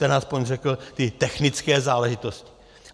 Ten aspoň řekl ty technické záležitosti.